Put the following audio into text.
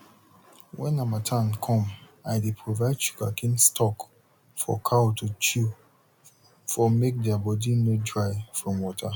when harmattan come i dey provide sugarcane stalk for cow to chew for make thier body nor dry from water